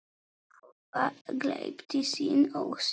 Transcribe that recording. Þúfa gleypti sinn ósigur.